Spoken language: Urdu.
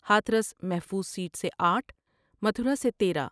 ہاتھرس محفوظ سیٹ سے آٹھ متھرا سے تیرہ ۔